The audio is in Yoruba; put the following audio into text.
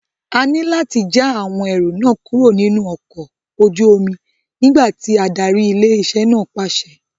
A ní láti já àwọn ẹrù náà kúrò nínú ọkọ̀ ojú omi nígbà tí ádárì ilé-iṣẹ́ náà pàṣẹ.